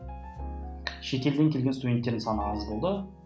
шетелден келген студенттердің саны аз болды